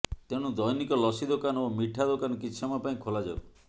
ତେଣୁ ଦୈନିକ ଲସି ଦୋକାନ ଓ ମିଠା ଦୋକାନ କିଛି ସମୟ ପାଇଁ ଖୋଲାଯାଉ